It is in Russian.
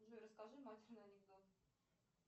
джой расскажи матерный анекдот